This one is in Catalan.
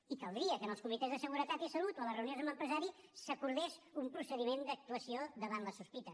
i caldria que en els comitès de seguretat i salut o a les reunions amb l’empresari s’acordés un procediment d’actuació davant la sospita